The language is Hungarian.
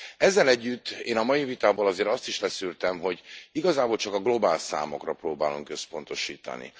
Ezzel együtt én a mai vitából azért azt is leszűrtem, hogy igazából csak a globál számokra próbálunk összpontosítani.